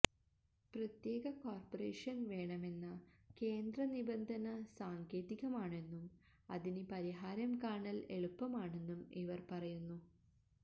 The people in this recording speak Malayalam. പ്രത്യേക കോര്പ്പറേഷന് വേണമെന്ന കേന്ദ്ര നിബന്ധന സാങ്കേതികമാണെന്നും അതിന് പരിഹാരം കാണല് എളുപ്പമാണെന്നും ഇവര് പറയുന്നു